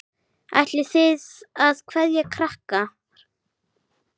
Ætlið þið að kveðja krakkar?